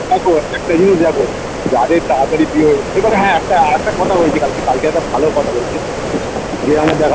দেখো একটা জিনিস দেখো যাদের তাড়াতাড়ি বিয়ে হয়ে যায় এইবারে হ্যাঁ একটা একটা কথা বলছি কালকে কালকে একটা ভালো কথা বলেছে যে আমার দাদা